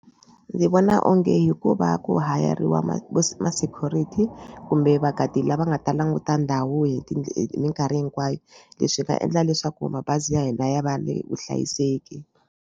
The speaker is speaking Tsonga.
Ndzi vona onge hikuva ku hire-riwa ma ma ma-security kumbe va-guard-i lava nga ta languta ndhawu hi hi minkarhi hinkwayo leswi nga endla leswaku mabazi ya hina ya va ni vuhlayiseki.